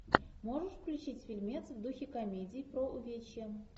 можешь включить фильмец в духе комедии про увечья